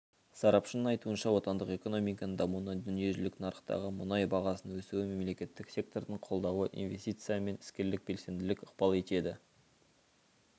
сарапшының айтуынша отандық экономиканың дамуына дүниежүзілік нарықтағы мұнай бағасының өсуі мемлекеттік сектордың қолдауы инвестиция мен іскерлік белсенділік ықпал етеді